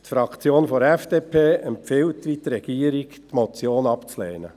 Die Fraktion der FDP empfiehlt, wie die Regierung, die Motion abzulehnen.